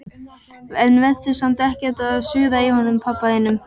En vertu samt ekkert að suða í honum pabba þínum.